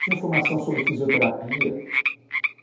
Tinha informação sobre fisioterapia.